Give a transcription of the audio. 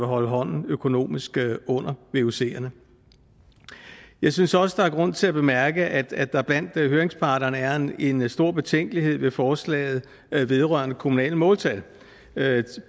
holde hånden økonomisk under vucerne jeg synes også der er grund til at bemærke at der blandt høringsparterne er en en stor betænkelighed ved forslaget vedrørende kommunale måltal